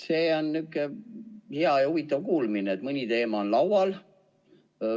See on nihuke hea ja huvitav tedamine, et mõni teema on laual.